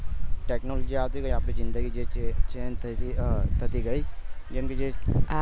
technology આવતી રહી અને આપડી જીદંગી જe છે એ change થતી ગયી જેમકે